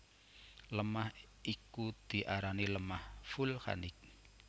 Lemah iku diarani lemah vulkanik